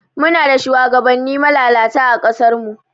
Muna da shugabani malalata ã kasar mu.